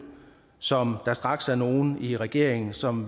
som der straks er nogle i regeringen som